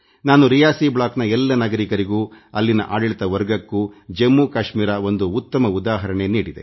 ನಾನು ರಿಯಾಸಿ ಬ್ಲಾಕ್ನ ಎಲ್ಲ ನಾಗರಿಕರಿಗೂ ಅಲ್ಲಿನ ಆಡಳಿತ ವರ್ಗಕ್ಕೂ ಜಮ್ಮುಕಾಶ್ಮೀರ ಒಂದು ಉತ್ತಮ ಉದಾಹರಣೆ ನೀಡಿದೆ